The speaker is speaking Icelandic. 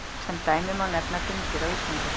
Sem dæmi má nefna dyngjur á Íslandi.